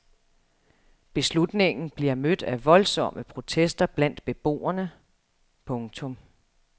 Beslutningen bliver mødt af voldsomme protester blandt beboerne. punktum